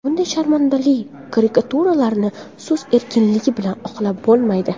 Bunday sharmandali karikaturalarni so‘z erkinligi bilan oqlab bo‘lmaydi”.